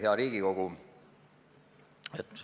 Hea Riigikogu!